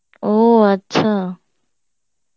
ও আচ্ছা